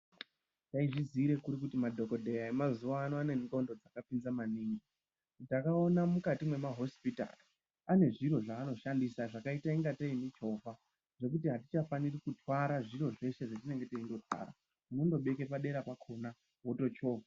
Taizviziira kuri kuti madhodha e mazuva ano ane ndxondo dzaka pinza maningi ndakaona mukati mema hosipitari ane zviro zvaano shandisa zvakaite kunge tee mu chovha zvekuti aticha faniri kutwara zviro zveshe zvetinenge teindo twara unongo beke padera pakona woto chovha.